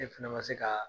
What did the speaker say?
E fana ma se ka